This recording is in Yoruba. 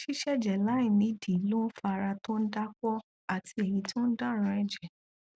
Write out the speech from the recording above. ṣíṣẹjẹ láì nídìí ló ń fa ara tó dápọn àti èyí tó dáranjẹ